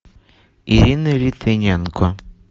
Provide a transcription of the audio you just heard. ирина литвиненко